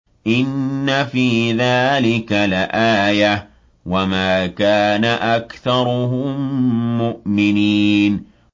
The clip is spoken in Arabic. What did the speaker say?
إِنَّ فِي ذَٰلِكَ لَآيَةً ۖ وَمَا كَانَ أَكْثَرُهُم مُّؤْمِنِينَ